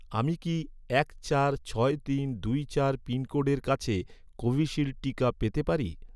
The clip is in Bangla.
আমি কি এক চার ছয় তিন দুই চার পিনকোডের কাছে কোভিশিল্ড টিকা পেতে পারি?